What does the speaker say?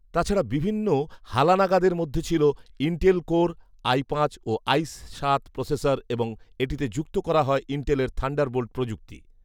তাছাড়া, বিভিন্ন হালানাগাদের মধ্যে ছিল ইন্টেল কোর আই পাঁচ ও আই সাত প্রসেসর এবং এটিতে যুক্ত করা হয় ইন্টেলের থান্ডারবোল্ট প্রযুক্তি